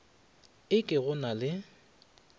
e ke go na le